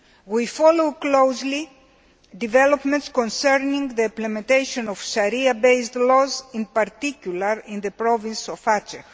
We follow closely developments concerning the implementation of Sharia based laws, in particular in the province of Aceh.